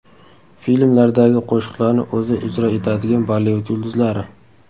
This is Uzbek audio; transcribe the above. Filmlardagi qo‘shiqlarni o‘zi ijro etadigan Bollivud yulduzlari .